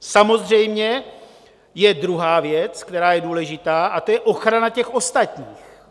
Samozřejmě je druhá věc, která je důležitá, a to je ochrana těch ostatních.